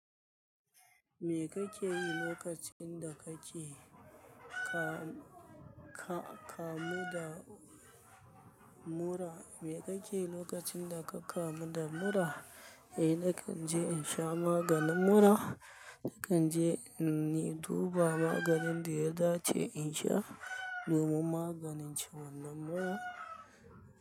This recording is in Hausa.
Me kake yi lokacin da kake ka-ka-kamu da mura? Me kake lokacin da ka kamu da mura? Eh, na kan je in sha maganin mura. Na kan je ni duba maganin daya dace in sha, domin maganin ciwon nan mura.